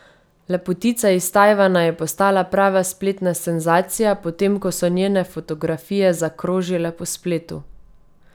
Lepotica iz Tajvana je postala prava spletna senzacija, potem ko so njene fotografije zakrožile po spletu.